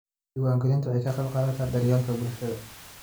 Diiwaangelintu waxay ka qaybqaadataa daryeelka bulshada.